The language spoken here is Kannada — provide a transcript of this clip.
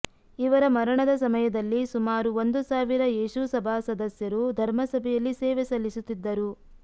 ಇವರ ಮರಣದ ಸಮಯದಲ್ಲಿ ಸುಮಾರು ಒಂದು ಸಾವಿರ ಯೇಸುಸಭಾ ಸದಸ್ಯರು ಧರ್ಮಸಭೆಯಲ್ಲಿ ಸೇವೆ ಸಲ್ಲಿಸುತಿದ್ದರು